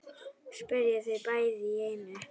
spyrja þau bæði í einu.